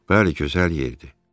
Bəli, gözəl yerdir.